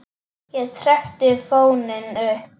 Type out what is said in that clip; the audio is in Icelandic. Ég trekkti fóninn upp.